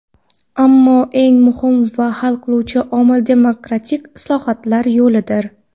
Ammo eng muhim va hal qiluvchi omil – demokratik islohotlar yo‘lidir.